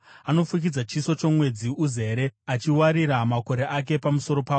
Anofukidza chiso chomwedzi uzere, achiwarira makore ake pamusoro pawo.